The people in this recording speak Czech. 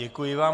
Děkuji vám.